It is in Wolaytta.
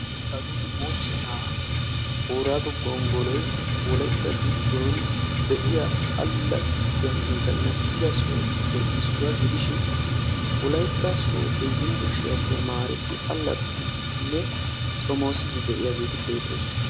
Hagee mochchenna boorago gonggolloy wolaytta zanaaqa soho gidishin wolaytta soodo yunbburssttiya tamaretti xoomossiddi beetosonna.